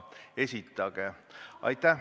Aitäh!